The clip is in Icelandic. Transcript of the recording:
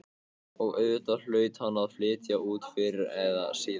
Og auðvitað hlaut hann að flytja út fyrr eða síðar.